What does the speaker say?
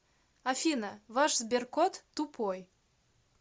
афина ваш сберкот тупой